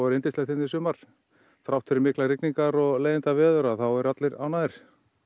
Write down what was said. yndislegt hérna í sumar þrátt fyrir rigningar og leiðindaveður þá eru allir ánægðir